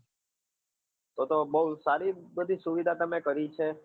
તો તો બહુ સારી બધી સુવિધા તમે કરી છે.